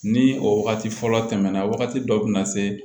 Ni o wagati fɔlɔ tɛmɛna wagati dɔ bɛna se